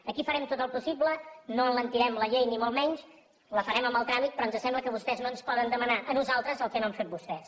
aquí farem tot el possible no alentirem la llei ni molt menys la farem amb el tràmit però ens sembla que vostès no ens poden demanar a nosaltres el que no han fet vostès